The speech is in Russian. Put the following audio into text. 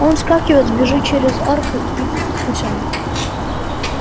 он вскакивает бежит через арку и к путям